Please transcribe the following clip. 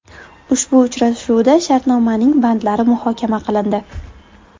Ushbu uchrashuvda shartnomaning bandlari muhokama qilindi.